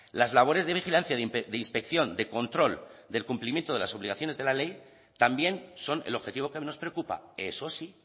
las labores de vigilancia de inspección de control del cumplimiento de las obligaciones de la ley también son el objetivo que nos preocupa eso sí